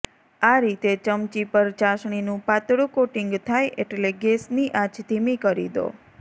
આ રીતે ચમચી પર ચાસણીનું પાતળું કોટિંગ થાય એટલે ગેસની આંચ ધીમી કરી દો